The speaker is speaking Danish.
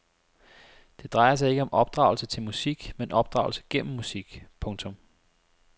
Det drejer sig ikke om opdragelse til musik men opdragelse gennem musik. punktum